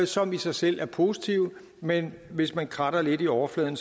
som i sig selv er positive men hvor hvis man kratter lidt i overfladen